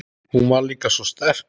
Hún var líka svo sterk.